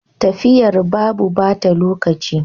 Tafiyar babu bata lokaci.